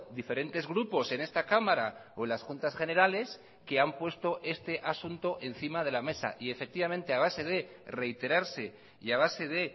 diferentes grupos en esta cámara o en las juntas generales que han puesto este asunto encima de la mesa y efectivamente a base de reiterarse y a base de